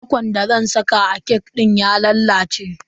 Kwakwan da zan saka a kek dina ya lalace.